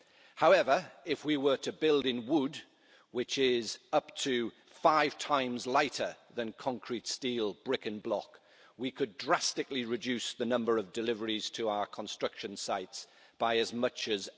However, if we were to build in wood which is up to five times lighter than concrete, steel, brick and block we could drastically reduce the number of deliveries to our construction sites by as much as